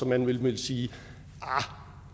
man vel ville sige arh